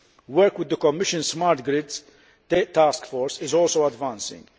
Work with the Commission's Smart Grids Task Force is also advancing.